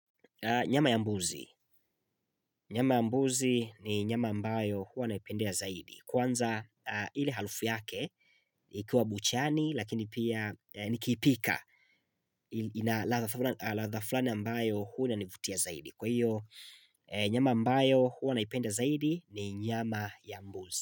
Nyama ya mbuzi. Nyama ya mbuzi ni nyama ambayo huwa naipendea zaidi. Kwanza ile halufu yake ikuwa buchani lakini pia nikiipika. Ladha fulani ambayo huwa inanivutia zaidi. Kwa hiyo nyama ambayo huwa naipenda zaidi ni nyama ya mbuzi.